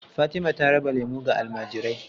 Fatima ta raba lemu ga almajirai.